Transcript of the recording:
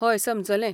हय, समजलें.